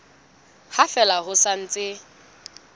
ha fela ho sa ntse